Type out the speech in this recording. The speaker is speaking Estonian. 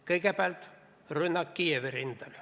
Kõigepealt, rünnak Kiievi rindel.